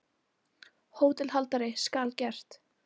HÓTELHALDARI: Skal gert!